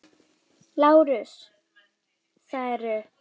LÁRUS: Það eru.